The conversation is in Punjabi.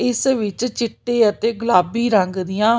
ਇਸ ਵਿੱਚ ਚਿੱਟੇ ਅਤੇ ਗੁਲਾਬੀ ਰੰਗ ਦੀਆਂ--